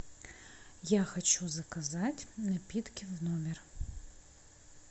я хочу заказать напитки в номер